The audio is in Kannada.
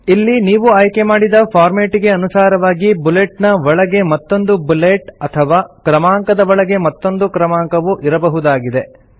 ಇಲ್ಲಿ ನೀವು ಆಯ್ಕೆಮಾಡಿದ ಫಾರ್ಮೆಟಿಗೆ ಅನುಸಾರವಾಗಿ ಬುಲೆಟ್ ನ ಒಳಗೆ ಮತ್ತೊಂದು ಬುಲೆಟ್ ಅಥವಾ ಕ್ರಮಾಂಕದ ಒಳಗೆ ಮತ್ತೊಂದು ಕ್ರಮಾಂಕವು ಇರಬಹುದಾಗಿದೆ